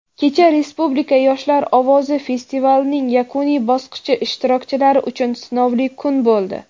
Kecha "Respublika yoshlar ovozi" festivalining yakuniy bosqich ishtirokchilari uchun sinovli kun bo‘ldi.